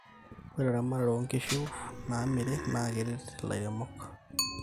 ore eramatare onkishu naamiri naa keret ilairemok